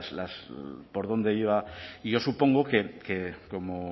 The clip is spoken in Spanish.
por dónde iba y yo supongo que como